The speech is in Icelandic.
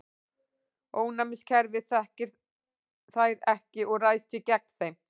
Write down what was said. Ónæmiskerfið þekkir þær ekki og ræðst því gegn þeim.